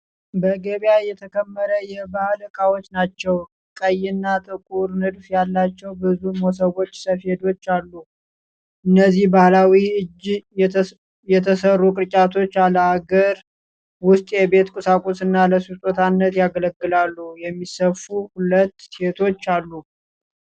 በገበያ የተከመረ የባህል ዕቃዎች ናቸው። ቀይና ጥቁር ንድፍ ያላቸው ብዙ መስቦችና ሰፌዶችም አሉ። እነዚህ በባህላዊ እጅ የተሠሩ ቅርጫቶች፣ ለአገር ውስጥ የቤት ቁሳቁስና ለስጦታነት ያገለግላሉ። የሚሰፉ ሁለት ሴቶም አሉ።